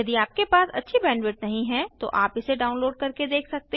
यदि आपके पास अच्छी बैंडविड्थ नहीं है तो आप इसे डाउनलोड करके देख सकते हैं